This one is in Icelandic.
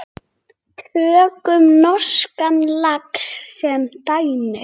Tökum norskan lax sem dæmi.